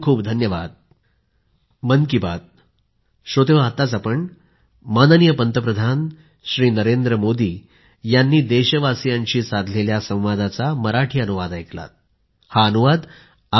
खूपखूप धन्यवाद